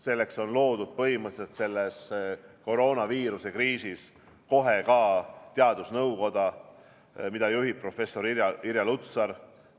Selleks loodi põhimõtteliselt kohe selles koroonaviiruse kriisis ka teadusnõukoda, mida juhib professor Irja Lutsar.